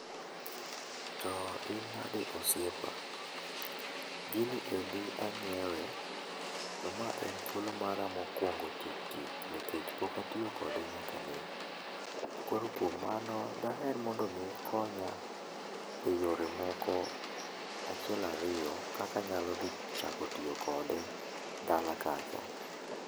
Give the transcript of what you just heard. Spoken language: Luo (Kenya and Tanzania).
To in nadi osiepa? Gini endi anyiewe, to ma en thuolo mara mokuongo tik tik. Pok atiyo kode nyaka nene. Koro kuom mano daher mondo mi ikonya e yore moko achiel ariyo kaka anyalo dhi chako tiyo kode dala kacha.